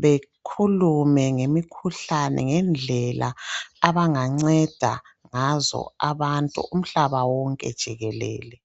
bekhulume ngemikhuhlane ngendlela abanganceda ngazo abantu umhlaba wonke jikelele